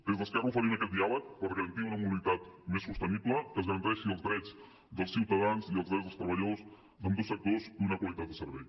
des d’esquerra oferim aquest diàleg per garantir una mobilitat més sostenible que es garanteixin els drets dels ciutadans i els drets dels treballadors d’ambdós sectors i una qualitat de servei